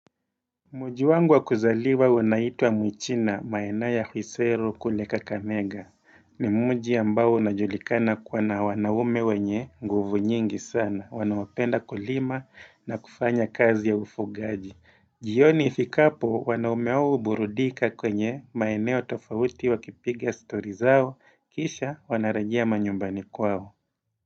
Muji wangu wa kuzaliwa unaitwa mwichina maeneo ya kuisero kule Kakamega ni muji ambao unajulikana kuwa na wanaume wenye nguvu nyingi sana, wanaopenda kulima na kufanya kazi ya ufugaji. Jioni ifikapo wanaume hao huburudika kwenye maeneo tofauti wa kipiga story zao kisha wanarajea manyumbani kwao.